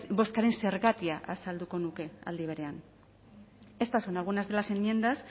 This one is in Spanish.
bozkaren zergatia azalduko nuke aldi berean estas son algunas de las enmiendas